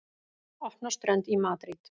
Opna strönd í Madríd